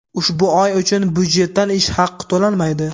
ushbu oy uchun byudjetdan ish haqi to‘lanmaydi.